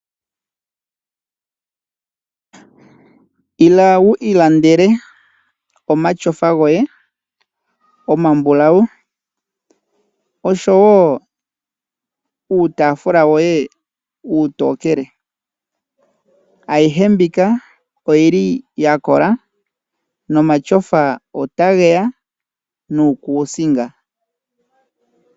Ila wu ilandele omatyofa goye omambulawu osho wo uutaafula woye uutokele. Ayihe mbika oyi li ya kola, nomayofa ota ge ya nuukuusinga.